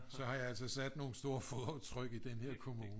Så har jeg altså sat nogle store fodaftryk i den her kommune